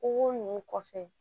O nunnu kɔfɛ